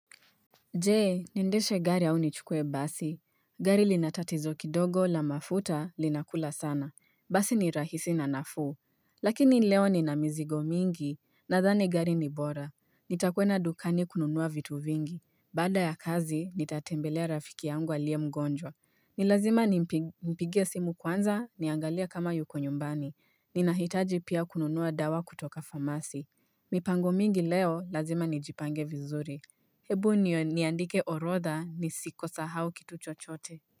Je, niendeshe gari au nichukue basi? Gari linatatizo kidogo la mafuta linakula sana. Basi ni rahisi na nafuu. Lakini leo nina mizigo mingi, nadhani gari ni bora. Nitakwenda dukani kununua vitu vingi. Baada ya kazi, nitatembelea rafiki yangu aliye mgonjwa. Ni lazima nimpigie simu kwanza niangalie kama yuko nyumbani. Ninahitaji pia kununua dawa kutoka famasi. Mipango mingi leo lazima nijipange vizuri. Hebu niandike orodha nisisahau kitu chochote.